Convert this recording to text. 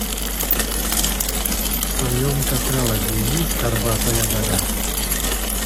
в твоем каталоге есть горбатая гора